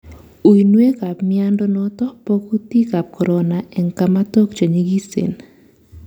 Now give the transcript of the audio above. Uinwek ab miando noton bo kutik ab Corono en kamatok che nyikisen